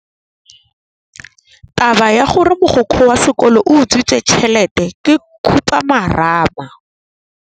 Taba ya gore mogokgo wa sekolo o utswitse tšhelete ke khupamarama.